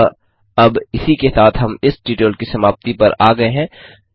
अतः अब इसी के साथ हम इस ट्यूटोरियल की समाप्ति पर आ गये हैं